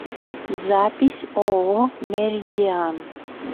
запись ооо меридиан